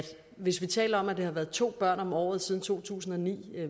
hvis vi taler om at det har været to børn om året siden to tusind og ni